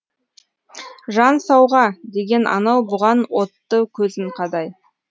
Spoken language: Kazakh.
жан сауға деген анау бұған отты көзін қадай